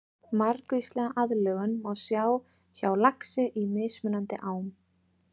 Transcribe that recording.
Margvíslega aðlögun má sjá hjá laxi í mismunandi ám.